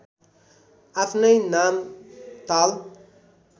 आफ्नै नाम ताल